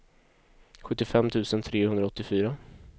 sjuttiofem tusen trehundraåttiofyra